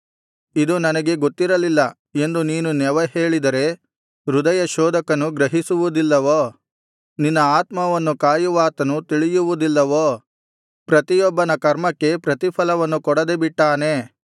ಇದು ನನಗೆ ಗೊತ್ತಿರಲಿಲ್ಲ ಎಂದು ನೀನು ನೆವ ಹೇಳಿದರೆ ಹೃದಯಶೋಧಕನು ಗ್ರಹಿಸುವುದಿಲ್ಲವೋ ನಿನ್ನ ಆತ್ಮವನ್ನು ಕಾಯುವಾತನು ತಿಳಿಯುವುದಿಲ್ಲವೋ ಪ್ರತಿಯೊಬ್ಬನ ಕರ್ಮಕ್ಕೆ ಪ್ರತಿಫಲವನ್ನು ಕೊಡದೆ ಬಿಟ್ಟಾನೇ